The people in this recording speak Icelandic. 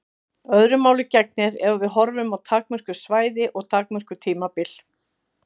Öðru máli gegnir ef við horfum á takmörkuð svæði og takmörkuð tímabil.